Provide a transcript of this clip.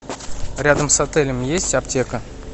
рядом с отелем есть аптека